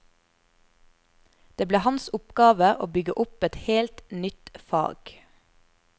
Det ble hans oppgave å bygge opp et helt nytt fag.